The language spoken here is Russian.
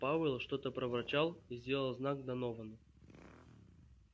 пауэлл что-то проворчал и сделал знак доновану